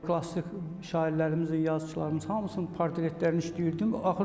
Klassik şairlərimizin, yazıçılarımızın hamısının portretlərini işləyirdim.